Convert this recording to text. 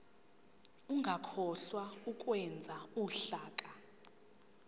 ungakhohlwa ukwenza uhlaka